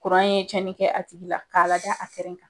Kuran ye tiɲɛni kɛ a tigi la, k'a lada a kɛrɛ kan .